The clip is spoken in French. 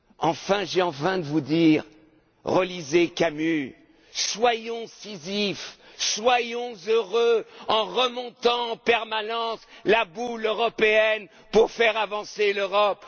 Enfin, j'ai envie de vous dire Relisez Camus, soyons Sisyphe, soyons heureux, en remontant en permanence la boule européenne pour faire avancer l'Europe.